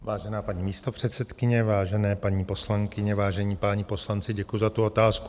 Vážená paní místopředsedkyně, vážené paní poslankyně, vážení páni poslanci, děkuji za tu otázku.